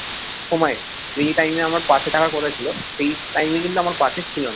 সময় যে time আমার পাশে থাকার কথা ছিল সেই time কিন্তু আমার পাশে ছিল না